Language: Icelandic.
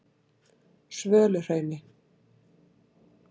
Svöluhrauni